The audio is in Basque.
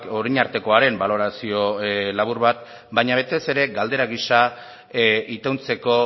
orain artekoaren balorazio labur bat baina batez ere galdera gisa ituntzeko